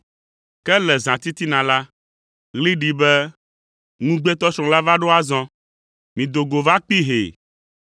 “Ke le zãtitina la, ɣli ɖi be, ‘Ŋugbetɔsrɔ̃ la va ɖo azɔ. Mido go va kpee hee!’